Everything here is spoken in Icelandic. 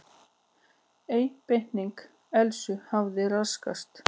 Einbeiting Elsu hafði raskast.